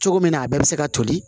Cogo min na a bɛɛ bɛ se ka toli